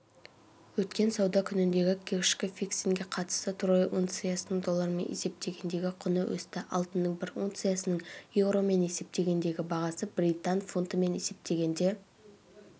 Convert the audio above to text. өткен сауда күніндегі кешкі фиксингке қатысты трой унциясының доллармен есептегендегі құны өсті алтынның бір унциясының еуромен есептегендегі бағасы британ фунтымен есептегенде